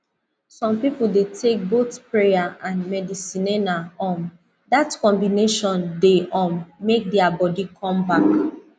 some people dey take both prayer and medicinena um that combination dey um make their body come back